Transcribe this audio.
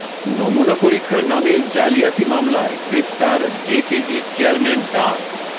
নমুনা পরীক্ষার নামে জালিয়াতি মামলায় গ্রেপ্তার জেকেজি চেয়ারম্যান ডা